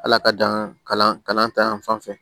Ala ka dan kalan kalan ta yan fan fɛ